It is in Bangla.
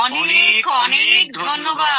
অনেক অনেক ধন্যবাদ